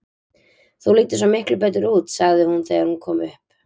Þú lítur svo miklu betur út, sagði hún þegar hún kom upp.